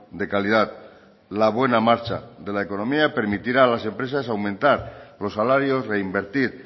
de calidad la buena marcha de la economía permitirá a las empresas aumentar los salarios reinvertir